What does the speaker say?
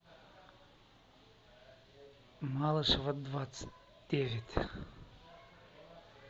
малышева двадцать девять